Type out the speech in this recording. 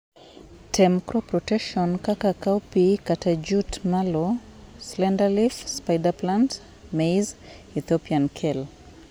tem crop rotation, kaka:cowpea kata jute mallow>slenderleaf>spiderplant>maize>ethiopian kale